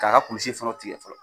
K'a ka kulisi fana tigɛ fɔlɔ,